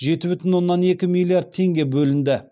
жеті бүтін оннан екі миллиард теңге бөлінді